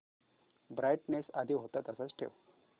brightness आधी होता तसाच ठेव